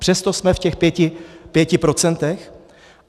Přesto jsme v těch pěti procentech.